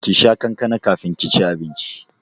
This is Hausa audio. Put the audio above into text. Kisha kankana kafin ki ci abinci!